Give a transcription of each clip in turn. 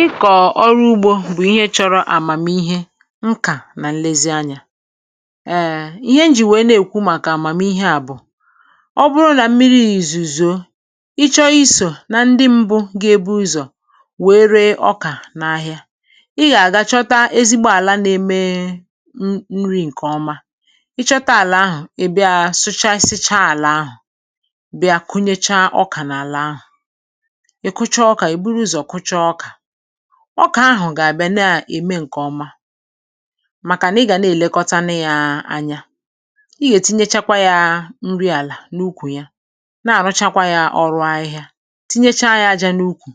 Ị kọ̀ọ̀ ọrụ ugbȯ bụ̀ ihe chọrọ àmàmihe, nkà nà nlezianyà. Èè, ihe njì wèe na-èkwu màkà àmàmihe à bụ̀: ọ bụrụ nà mmi̇ri̇ yà ìzùzù, ị chọ isò na ndị mbụ̇ gà-eburu ụzọ̀ wèe ree ọkà n’ahịa, ị gà-àgàchọta ezigbo àla na-eme nri̇. Ǹkè ọma, ị chọta àlà ahụ̀, ị̀ bịa sụ̀chàsịcha àlà ahụ̀, bịa kụnyecha ọkà n’àlà ahụ̀.Ọkà ahụ̀ gà-àbịa na-ème ǹkè ọma, màkà nà ị gà na-èlekọtana ya anya. Ị gà-ètinyechakwa ya nri àlà n’ukwù ya, na-àrụchakwa ya ọrụ ahịhịa, tinyecha ya ajȧ n’ukwù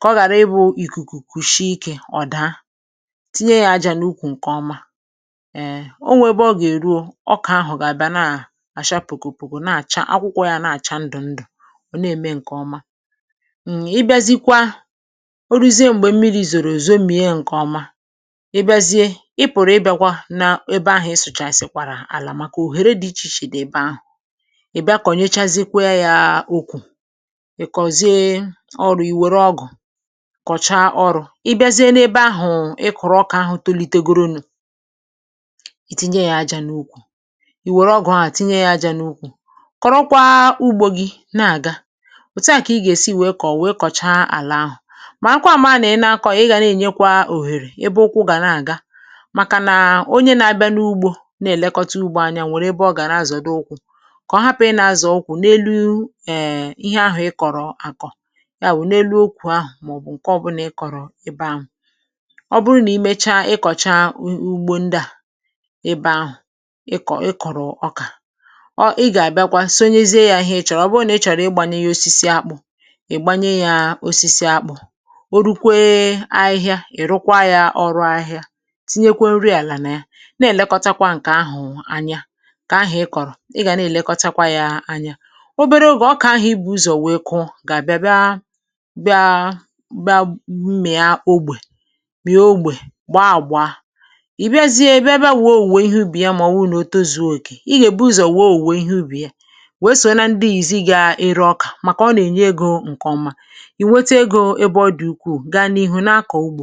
kà ọ ghàra ịbụ̇ ìkùkù kwùshi ikė ọ̀da. Tinye ya ajȧ n’ukwù — ǹkè ọma. Èe, onwe ebe ọ gà-èru o, ọkà ahụ̀ gà-àbịa nà-àcha pùkù-pùkù-pùkù, akwụkwọ ya na-àcha ndụ̀-ndụ̀, ọ̀ na-ème ǹkè ọma. Ọ rúzie m̀gbè mmi̇ri̇ zòrò òzo, m̀mìe ǹkè ọma. Hmm… ị bịazie, ị pụ̀rụ̀ ị bịaakwa n’ebe ahụ̀, ị sụ̀chàsịkwàrà àlà, màkà òhèrè dị̇ iche-iche dị̀ ebe ahụ̀.Ị̀ bịa kọ̀nyechazịkwa yà okwu̇, ị kọ̀zie ọrụ̇, i wère ọgụ̀ kọ̀cha ọrụ̇. Ị bịazie n’ebe ahụ̀, ị kọ̀rọ̀ ọkà ahụ̀ tolitegodu̇ nụ̇, ì tinye yà ajȧ n’ukwù, ì wère ọgụ̇ ahụ̀ tinye yà ajȧ n’ukwù, kọ̀rọkwa ugbȯ gị̇ na-àga. Màakwa mànà ị nà-ȧkọ̀, ị gà na-ènyekwa òhèrè ẹbẹ ukwu gà na-àga, màkà nà onye na-abịa n’ugbȯ na-èlekọta ugbȯ, anyȧ nwèrè ebe ọ gà na-azọ̀dụ ukwu, kà ọ hapụ̀ ị nà-azọ̀ ukwu n’elu. Ẹ̀hm… ihe ahụ̀ ị kọ̀rọ̀ àkọ̀ ya wụ̀ n’elu okwù ahụ̀, màọ̀bụ̀ ǹkè ọbụlà ị kọ̀rọ̀ ebe ahụ̀.Ọ bụrụ nà i mecha ị kọ̀cha ugbȯ ndị à, ị bẹ ahụ̀, ị kọ̀, ị kọ̀rọ̀ ọkà ọ, ị gà-àbịakwa sonyezie yà ihe ị chọ̀rọ̀. Ọ bụrụ nà ị chọ̀rọ̀, ị gbànye yà osisi akpụ̇, o rukwee ahịhịa, ị̀ rụkwa yà ọrụ ahịa. Tinyekwa nri àlà nà ya, na-èlekọtakwa ǹkè ahụ̀ anya. Kà ahụ̀ ị kọ̀rọ̀, ị gà nà-èlekọtakwa yà anya obere ogè. Ọkà ahụ̀ ibu̇ ụzọ̀ wee kụọ, gà-àbịa bịa-bịa, mmìa-ogbè bịa, ogbè gbaa àgbọ̀. A, ì bịazie, ị bịa-bịa wùwùwù ihe ubì ya. Mà ọ̀ wụ̀ nà o tozuo òkè, i gà èbu ụzọ̀ wùwùwù ihe ubì ya, wee sòla ndị ìzì gà-ìrȧ ọkà, màkà ọ nà-ènye egȯ ǹkè ọma, gidù ego. Um… íbá ọdì ukwu̇ gaa n’ihu na-akọ̀ ugbȯ.